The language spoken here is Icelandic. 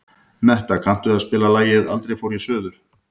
Metta, kanntu að spila lagið „Aldrei fór ég suður“?